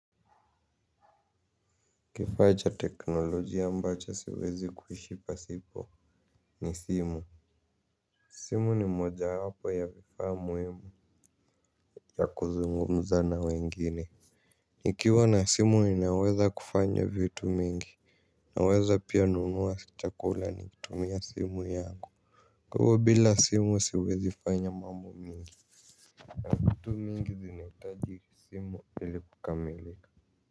Kifaa cha teknolojia ambacho siwezi kuishi pasipo ni simu simu ni mojawapo ya vifaa muhimu ya kuzungumza na wengine nikiwa na simu inaweza kufanya vitu mingi naweza pia nunua chakula nikitumia simu yangu. Kwaivo bila simu siwezi fanya mambo mingi na vitu mingi zinahitaji simu ili kukamilika.